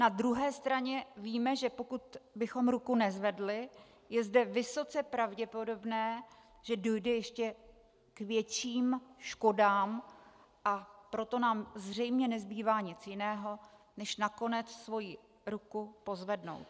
Na druhé straně víme, že pokud bychom ruku nezvedli, je zde vysoce pravděpodobné, že dojde ještě k větším škodám, a proto nám zřejmě nezbývá nic jiného, než nakonec svoji ruku pozvednout.